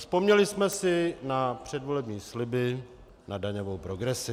Vzpomněli jsme si na předvolební sliby, na daňovou progresi.